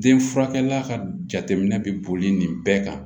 Den furakɛla ka jateminɛ bɛ boli nin bɛɛ kan